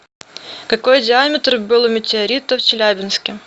какой диаметр был у метеорита в челябинске